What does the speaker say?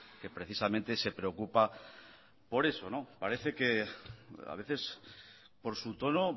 que precisamente se preocupa por eso parece que a veces por su tono